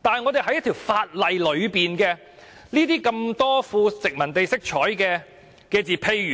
但是，我們在法例中，很多富殖民地色彩的用詞，例